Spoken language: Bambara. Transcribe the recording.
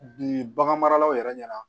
Bi bagan maralaw yɛrɛ ɲɛna